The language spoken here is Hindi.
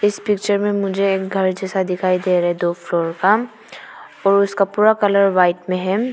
इस पिक्चर में मुझे एक घर जैसा दिखाई दे रहा है दो फ्लोर का और उसका पूरा कलर वाइट में है।